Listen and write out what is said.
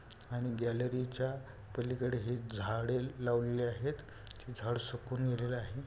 आणि गॅलरी च्या पलीकडे हे झाडे लावलेली आहेत. झाड सुकून गेलेले आहे.